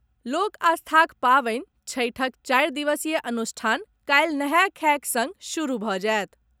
लोक आस्थाक पावनि छठिक चारि दिवसीय अनुष्ठान काल्हि नहाय खायक सङ्ग शुरू भऽ जायत।